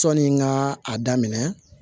Sɔnni n ka a daminɛ